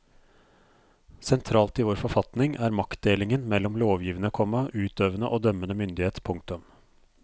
Sentralt i vår forfatning er maktdelingen mellom lovgivende, komma utøvende og dømmende myndighet. punktum